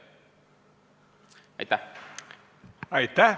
Aitäh!